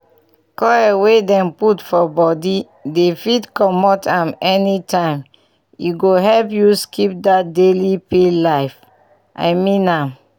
coil wey dem put for body dey fit comot am anytime and e go help you skip that daily pill life. i mean am